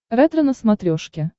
ретро на смотрешке